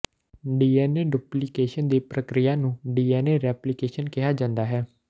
DNA duplication ਦੀ ਪ੍ਰਕਿਰਿਆ ਨੂੰ ਡੀਐਨਏ ਰੈਪਲੀਕੇਸ਼ਨ ਕਿਹਾ ਜਾਂਦਾ ਹੈ